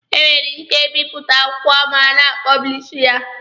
E nwere ike ịbịpụta akwụkwọ mana a pọblishighị ya